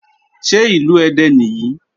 Ṣé Ìlú Ẹdẹ nìyí?